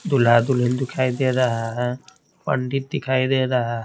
दुल्हा- दुल्हन दिखाई दे रहा हैपंडित दिखाई दे रहा --